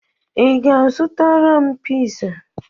I ga-azụtara m piza?